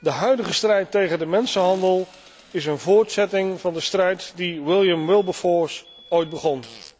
De huidige strijd tegen de mensenhandel is een voortzetting van de strijd die William Wilberforce ooit begon.